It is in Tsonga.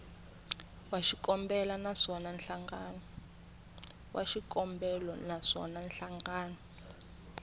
wa xikombelo na swona nhlangano